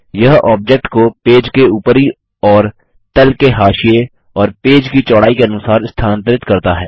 यह ऑब्जेक्ट को पेज के ऊपरी और तल के हाशिये और पेज की चौड़ाई के अनुसार स्थानांतरित करता है